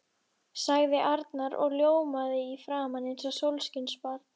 sagði Arnar og ljómaði í framan eins og sólskinsbarn.